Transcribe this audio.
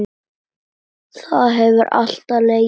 Það hefur alltaf legið fyrir.